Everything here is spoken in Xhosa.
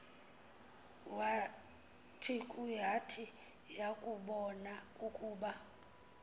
yat yakubon ukuba